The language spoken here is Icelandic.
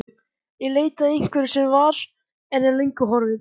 Í leit að einhverju sem var, en er löngu horfið.